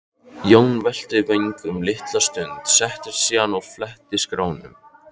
Jón velti vöngum litla stund, settist síðan og fletti skránum.